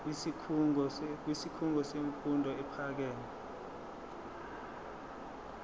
kwisikhungo semfundo ephakeme